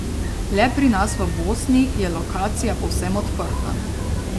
Le pri nas v Bosni je lokacija povsem odprta.